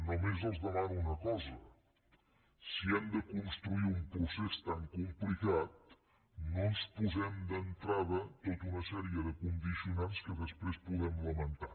només els demano una cosa si han de construir un procés tan complicat no ens posem d’entrada tota una sèrie de condicionants que després puguem lamentar